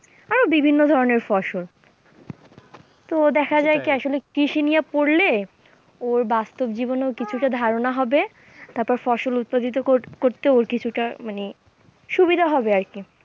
আরও বিভিন্ন ধরণের ফসল তো দেখা যায় কি আসলে কৃষি নিয়ে পড়লে ওর বাস্তব জীবনেও কিছুটা ধারণা হবে, তারপরে ফসল উৎপাদিত করতে ওর কিছুটা মানে সুবিধা হবে আর কি,